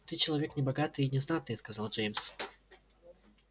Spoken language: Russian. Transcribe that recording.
ты человек небогатый и знатный сказал джеймс